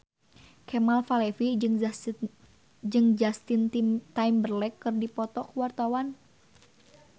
Kemal Palevi jeung Justin Timberlake keur dipoto ku wartawan